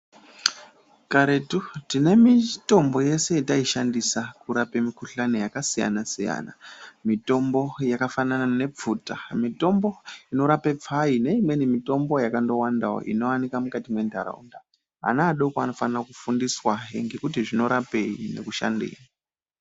Karetu tine mitombo yese yataishandisa kurapa mikuhlani yakasiyana siyana .Mitombo yakafanana nepfuta ,mitombo inorapa pfai neimweni mitombo yakawandawo inowanikwa mukati mendaraunda vana vadoko vanofana kufundiswahe kuti zvinorapei nekushandei.